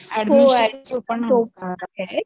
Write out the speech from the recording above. हो अॅडमिशन